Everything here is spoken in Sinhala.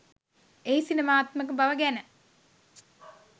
එහි සිනමාත්මක බව ගැන